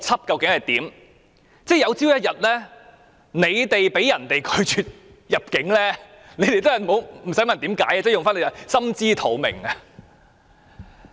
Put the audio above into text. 有朝一日，建制派議員被其他地區拒絕入境，也不用問原因，用他們自己說的"心知肚明"即可。